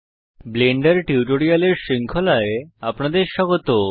Blender টিউটোরিয়ালের শৃঙ্খলায় আপনাদের স্বাগত